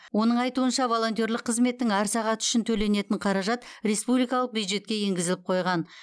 оның айтуынша волонтерлік қызметтің әр сағаты үшін төленетін қаражат республикалық бюджетке енгізіліп қойған